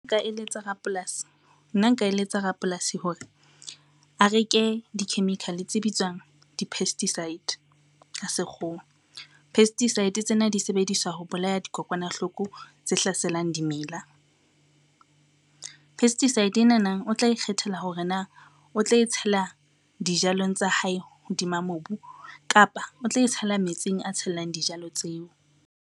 Nna nka eletsa rapolasi hore, a reke di-chemical tse bitswang di-pesticide ka Sekgowa. Pesticide tsena di sebediswa ho bolaya dikokwanahloko tse hlaselang dimela. Pesticide enana, o tla ikgethela hore na o tla e tshela dijalong tsa hae hodima mobu, kapa o tla e tshela metsing a tshellang dijalo tseo.